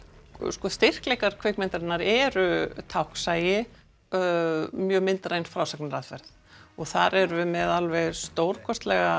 sko styrkleikar myndarinnar eru táknsæi og mjög myndræn frásagnaraðferð og þar erum við með alveg stórkostlegan